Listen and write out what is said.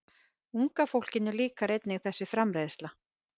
Unga fólkinu líkar einnig þessi framreiðsla.